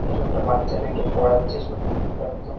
ছোট্ট ছোট্ট বাচ্চাদেরকে পড়াচ্ছে ছোট্ট ছোট্ট একদম ।